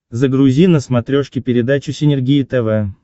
загрузи на смотрешке передачу синергия тв